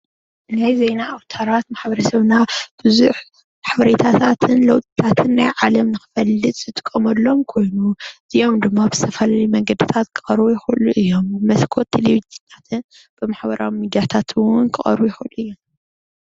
ናይ ዜና ኣውታሪት ማሕበረሰብና ቡዙሕ ሓበሬታታት ለዉጥታታትን ዝጥቀመሉን ዝርከቡሉ እዩ። ብዝተፈላለዩ መንገድታት መስኮት ቴሌቭዥን ብማሕበራዊ ሚድያታትን እውን ክቀርቡ ይክእሉ እዮም